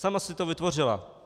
Sama si to vytvořila.